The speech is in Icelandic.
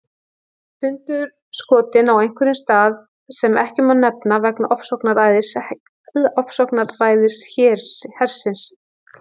Sundurskotinn á einhverjum stað sem ekki má nefna vegna ofsóknaræðis hersins.